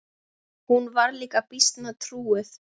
Hún var líka býsna trúuð.